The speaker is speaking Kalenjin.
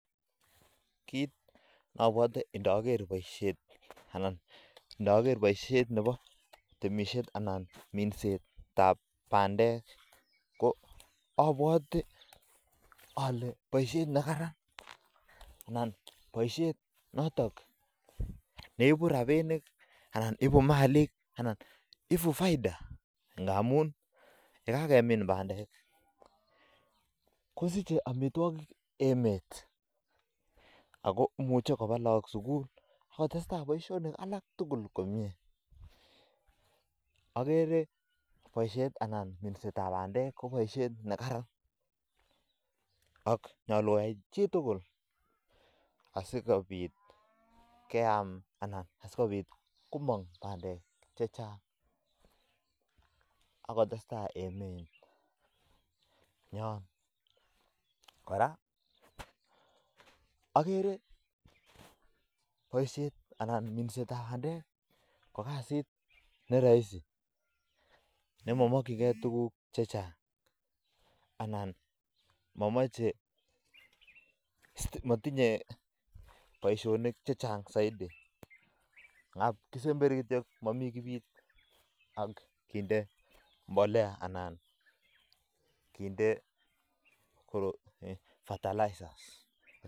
Kit neabwote ndager boisyoni Bo temisiet anan ko minset ab bandek keboisyet neibu robinik ak tukuk chechang kou faida akotoret koba lakok sukul akotestai emet nyo ako minset ab bandek ko matinye boisyonik chechang mising amu mami kinde mbolea anan ko tukuk chechang mising